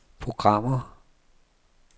programmer